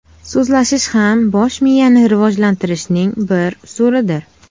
So‘zlashish ham bosh miyani rivojlantirishning bir usulidir.